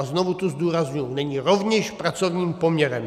A znovu tu zdůrazňuji - není rovněž pracovním poměrem.